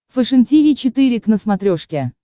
фэшен тиви четыре к на смотрешке